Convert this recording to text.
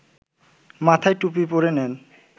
মাথায় টুপি পরে নেন